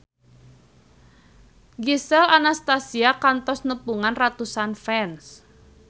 Gisel Anastasia kantos nepungan ratusan fans